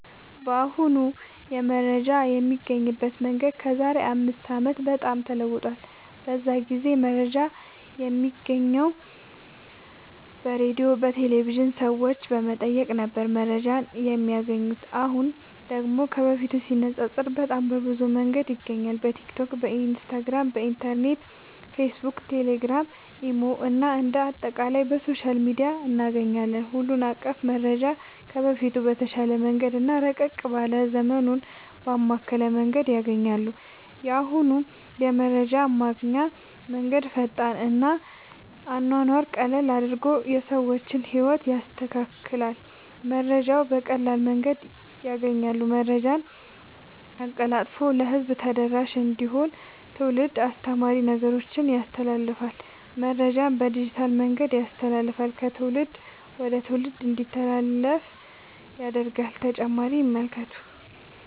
በአሁኑ የመረጃ የሚገኝበት መንገድ ከዛሬ አምስት አመት በጣም ተለውጧል። በዛ ጊዜ መረጃ የሚገኘው በሬድዮ፣ በቴሌቭዥን፣ ሰዎች በመጠየቅ ነበር መረጃን የማያገኙት። አሁን ደግሞ ከበፊቱ ሲነፃፀር በጣም በብዙ መንገድ ይገኛል በቲክቶክ፣ ኢንስታግራም፣ ኢንተርኔት፣ ፌስብክ፣ ቴሌግራም፣ ኢሞ እና አንደ አጠቃላይ በሶሻል ሚዲያ እናገኛለን ሁሉን አቀፍ መረጃ ከበፊቱ በተሻለ መንገድ እና ረቀቅ ባለ ዘመኑን ባማከለ መንገድ ያገኛሉ። የአሁኑ የመረጃ ማግኛ መንገድ ፈጣን እና አኗኗሩን ቀለል አድርጎ የሰዎችን ህይወት ያስተካክላል መረጃውን በቀላል መንገድ ያገኛሉ። መረጃን አቀላጥፎ ለህዝብ ተደራሽ እንዲሆን ትውልድ አስተማሪ ነገሮችን ያስተላልፍል። መረጃን በዲጂታል መንገድ ያስተላልፍል ከትውልድ ወደ ትውልድ እንዲተላለፍ ያደርጋል…ተጨማሪ ይመልከቱ